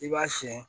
I b'a siyɛn